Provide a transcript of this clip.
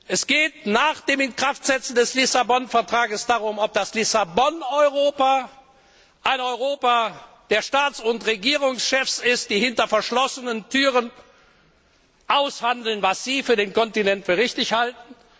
Es geht nach dem Inkraftsetzen des Vertrags von Lissabon darum, ob das Lissabon Europa ein Europa der Staats und Regierungschefs ist, die hinter verschlossenen Türen aushandeln, was sie für den Kontinent für richtig halten.